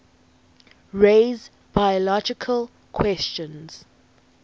raise biological questions